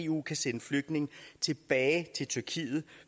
eu kan sende flygtninge tilbage til tyrkiet